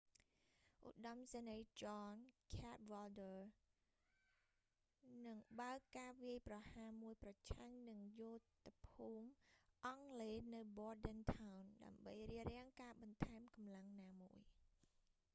ឧត្តមសេនីយ៍ john cadwalder ចន ខាតវ៉លឌើរ នឹងបើកការវាយប្រហារមួយប្រឆាំងនឹងយោធភូមិអង់គ្លេសនៅ bordentown ដើម្បីរារាំងការបន្ថែមកម្លាំងណាមួយ